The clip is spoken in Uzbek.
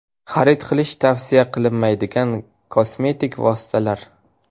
Xarid qilish tavsiya qilinmaydigan kosmetik vositalar.